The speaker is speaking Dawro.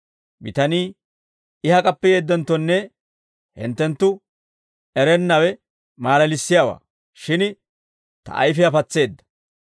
Bitanii, «I hak'appe yeeddenttonne hinttenttu erennawe maalalissiyaawaa; shin I ta ayfiyaa patseedda!